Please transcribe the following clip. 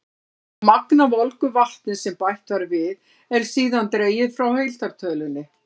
Það magn af volgu vatni sem bætt var við, er síðan dregið frá heildartölunni.